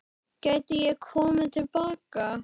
Gæti ég komið til baka?